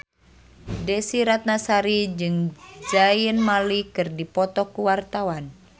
Desy Ratnasari jeung Zayn Malik keur dipoto ku wartawan